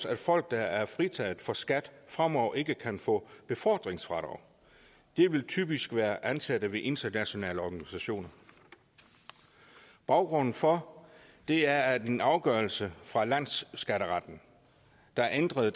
at folk der er fritaget for skat fremover ikke kan få befordringsfradrag det vil typisk være ansatte ved internationale organisationer baggrunden for det er en afgørelse fra landsskatteretten der ændrede